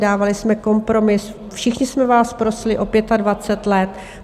Dávali jsme kompromis, všichni jsme vás prosili o 25 let.